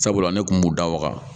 Sabula ne kun b'u da waga